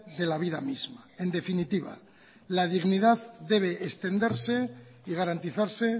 de la vida misma en definitiva la dignidad debe extenderse y garantizarse